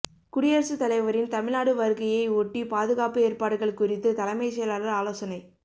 குடியரசுத் தலைவரின் தமிழ்நாடு வருகையை ஒட்டி பாதுகாப்பு ஏற்பாடுகள் குறித்து தலைமைச் செயலாளர் ஆலோசனை